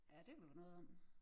Ja det kunne der være noget om